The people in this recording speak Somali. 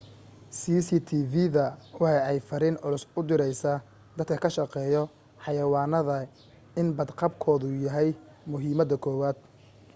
cctv-da waxa ay fariin culus u direysa dadka ka shaqeeyo xayawaanada in bad qabkoodu yahay muhiimada koowaad